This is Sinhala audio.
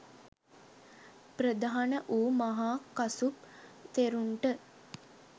ප්‍රධාන වූ මහා කසුප් තෙරුන්ට